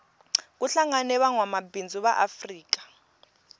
kuhlangene vangwamabindzu vaafrika